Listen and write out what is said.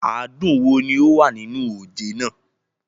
Adùn wo ni ó wà nínú oje náà?